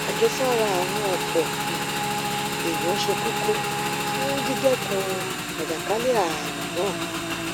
àjẹsára àwọn ọpọ um èèyàn ṣe kókó fún dídẹkun àjàkálẹ ààrùn náà